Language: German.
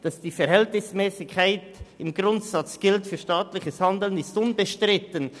Dass die Verhältnismässigkeit im Grundsatz für staatliches Handeln besteht, ist unbestritten.